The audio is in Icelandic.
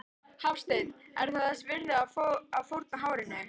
Hafsteinn: Er það þess virði þá að fórna hárinu?